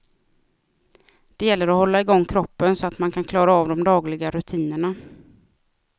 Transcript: Det gäller att hålla igång kroppen så att man kan klara av de dagliga rutinerna.